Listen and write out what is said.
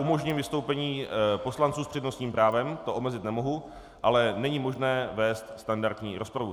Umožním vystoupení poslanců s přednostním právem, to omezit nemohu, ale není možné vést standardní rozpravu.